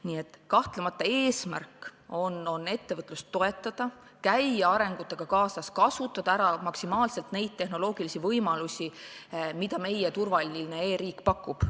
Nii et kahtlemata on eesmärk ettevõtlust toetada, käia arenguga kaasas, kasutada maksimaalselt ära neid tehnoloogilisi võimalusi, mida meie turvaline e-riik pakub.